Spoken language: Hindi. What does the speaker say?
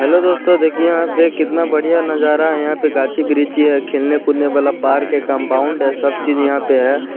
हेलो दोस्तो देखिये यहाँ पे कितना बढ़िया नजारा है यहां पे गाछी-वृछी है खेलने-कूदने वाला पार्क है कंपाउंड है सब चीज यहां पे है।